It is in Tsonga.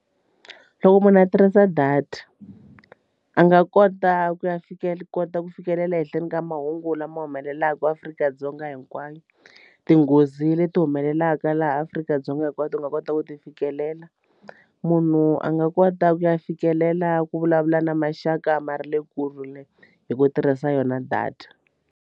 Loko munhu a tirhisa data a nga kota ku ya kota ku fikelela ehenhleni ka mahungu lama humelelaka Afrika-Dzonga hinkwayo tinghozi leti humelelaka tlhelaka laha Afrika-Dzonga hinkwato u nga kota ku ti fikelela munhu a nga kota ku ya fikelela ku vulavula na maxaka ma ra le kule hi ku tirhisa yona data.